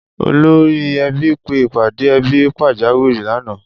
Olórí e̩bí pe ìpàdé e̩bí pàjáwìrì lánàá